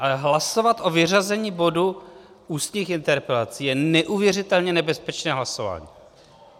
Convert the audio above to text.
Ale hlasovat o vyřazení bodu ústních interpelací, je neuvěřitelně nebezpečné hlasování.